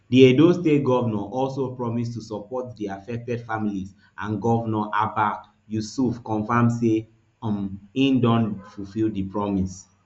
di edo state govnor also also promise to support di affected families and govnor abba yusuf confam say um e don fulfil di promise